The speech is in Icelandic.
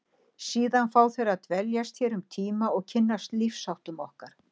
Síðan fá þeir að dveljast hér um tíma og kynnast lífsháttum okkar.